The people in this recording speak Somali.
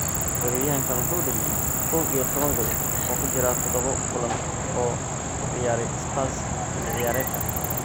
Weeraryahankan wuxuu dhaliyay kow iyo tawan gool oo ku jira toddobo kulan oo uu ciyaaray Spurs xilli ciyaareedkan.